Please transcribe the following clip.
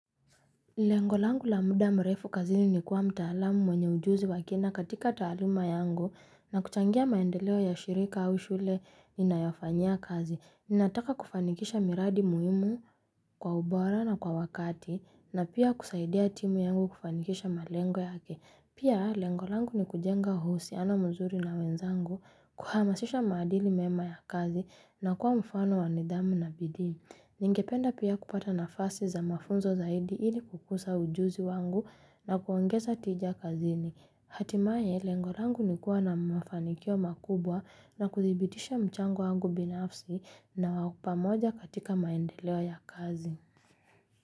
Lengo langu la muda mrefu kazini ni kuwa mtaalamu mwenye ujuzi wa kina katika taaluma yangu na kuchangia maendeleo ya shirika au shule ninayofanyia kazi. Ninataka kufanikisha miradi muhimu kwa ubora na kwa wakati na pia kusaidia timu yangu kufanikisha malengo yake. Pia lengo langu ni kujenga uhusiano mzuri na wenzangu kuhamasisha maadili mema ya kazi na kuwa mfano wa nidhamu na bidii. Ningependa pia kupata nafasi za mafunzo zaidi ili kukuza ujuzi wangu na kuongeza tija kazini. Hatimaye lengo langu ni kuwa na mafanikio makubwa na kudhibitisha mchango wangu binafsi na pamoja katika maendeleo ya kazi.